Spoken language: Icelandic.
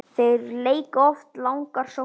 Þeir leika oft langar sóknir.